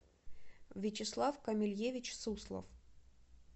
вячеслав камильевич суслов